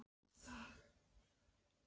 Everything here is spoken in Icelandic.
Stefán! bergmálaði móðir hans ströng á svip.